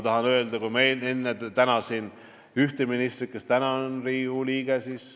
Enne ma tänasin ühte ministrit, kes täna on Riigikogu liige.